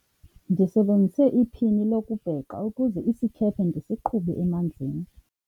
ndisebenzise iphini lokubhexa ukuze isikhephe ndisiqhube emanzini